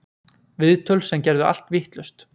Viðtöl sem gerðu allt vitlaust